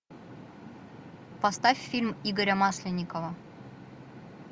поставь фильм игоря масленникова